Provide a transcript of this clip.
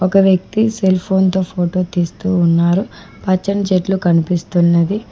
ఒక వ్యక్తి cell phone తో ఫోటో తీస్తూ ఉన్నారు పచ్చని చెట్లు కన్పిస్తున్నాది.